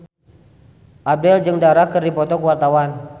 Abdel jeung Dara keur dipoto ku wartawan